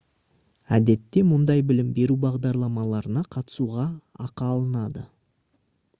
әдетте мұндай білім беру бағдарламаларына қатысуға ақы алынады